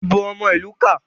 ìbò omo ilu ká.